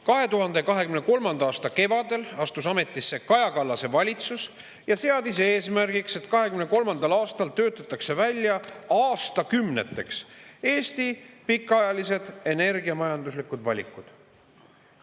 2023. aasta kevadel astus ametisse Kaja Kallase valitsus ja seadis eesmärgiks, et 2023. aastal töötatakse välja aastakümneteks Eesti pikaajalised energiamajanduslikud valikud.